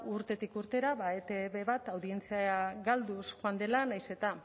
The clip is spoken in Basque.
urtetik urtera ba etb bat audientzia galduz joan dela nahiz eta